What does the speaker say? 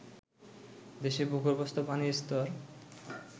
দেশে ভূগর্ভস্থ পানির স্তর